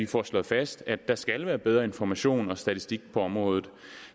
får slået fast at der skal være bedre information og statistik på området